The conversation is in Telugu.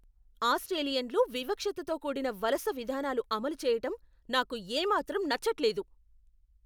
ఆస్ట్రేలియన్లు వివక్షతతో కూడిన వలస విధానాలు అమలు చేయటం నాకు ఏమాత్రం నచ్చట్లేదు.